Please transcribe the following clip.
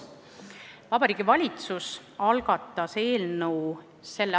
Vabariigi Valitsus algatas eelnõu s.